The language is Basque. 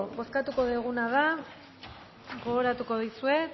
bozkatuko duguna da gogoratuko dizuet